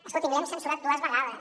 escolti’m l’hem censurat dues vegades